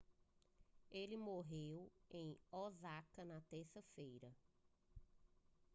ele morreu em osaka na terça-feira